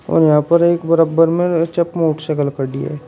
और यहां पर एक बराब्बर में मोटरसाइकिल खड़ी है।